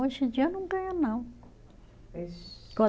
Hoje em dia não ganha não.